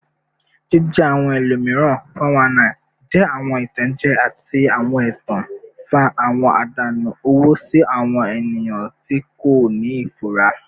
Jije awọn ẹlomiran (419) jẹ awọn itanjẹ ati awọn ẹtan, nfa awọn adanu owo si awọn eniyan ti ko ni ifura.